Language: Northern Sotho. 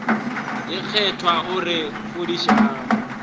ye kgethwa o re fodišang